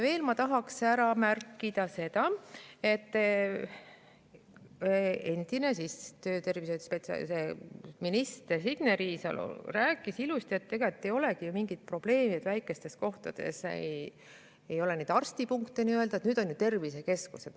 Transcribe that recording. Veel tahaks ära märkida seda, et endine tervise‑ ja tööminister Signe Riisalo rääkis ilusti, et ega ei olegi ju mingit probleemi, kui väikestes kohtades ei ole neid nii-öelda arstipunkte, sest nüüd on ju tervisekeskused.